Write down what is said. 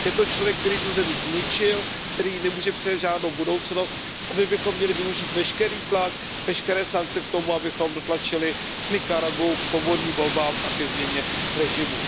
Je to člověk, který tu zemi zničil, který jí nemůže přinést žádnou budoucnost, a my bychom měli využít veškerý tlak, veškeré sankce k tomu, abychom dotlačili Nikaraguu ke svobodným volbám a ke změně režimu.